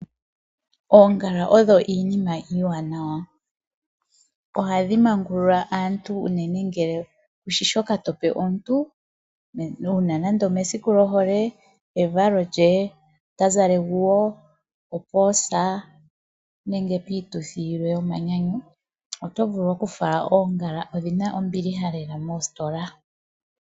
Oongala odho iinima iiwanawa . Ohadhi mangulula aantu unene ngele kushi shoka tope omuntu, uuna nande omesiku lyohole, evalo lye , ota zala eguwo, opoosa nenge piituthi yilwe yomanyanyu. Oto vulu okufala oongala, odhina ombilihaelela moositola.